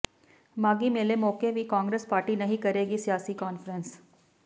ਮਾਘੀ ਮੇਲੇ ਮੌਕੇ ਵੀ ਕਾਂਗਰਸ ਪਾਰਟੀ ਨਹੀਂ ਕਰੇਗੀ ਸਿਆਸੀ ਕਾਨਫਰੰਸ